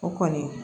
O kɔni